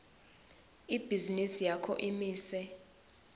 ibhizinisi yakho imise